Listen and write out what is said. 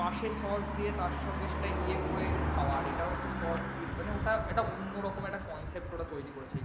পাশে sauce দিয়ে তার সঙ্গে সেটা ইয়ে করে খাওয়া। আর এটা হচ্ছে দিয়ে মানে ওটা একটা অন্যরকম একটা concept ওরা তৈরি করেছে।